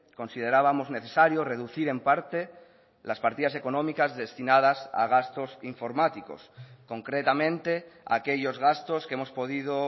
considerábamos necesario reducir en parte las partidas económicas destinadas a gastos informáticos concretamente aquellos gastos que hemos podido